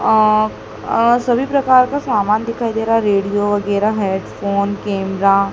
आ अ सभी प्रकार का सामान दिखाई दे रहा हैं रेडियो वगैरा हेडफोन कैमरा ।